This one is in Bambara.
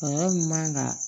Kɔlɔlɔ min man kan ka